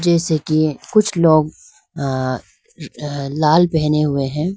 जैसे कि कुछ लोग आ लाल पहने हुए है।